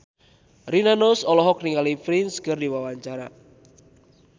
Rina Nose olohok ningali Prince keur diwawancara